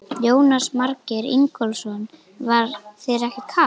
Jónas Margeir Ingólfsson: Var þér ekkert kalt?